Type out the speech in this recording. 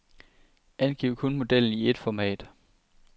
Angiv kun modellen i et format.